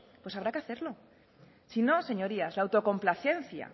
pues habrá que hacerlo si no señorías la autocomplacencia